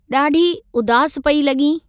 ॾाढी उदासु पेई लॻीं।